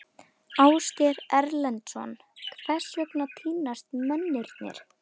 Ásgeir Erlendsson: Hvers vegna týnast mennirnir?